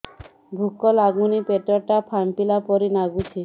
ଭୁକ ଲାଗୁନି ପେଟ ଟା ଫାମ୍ପିଲା ପରି ନାଗୁଚି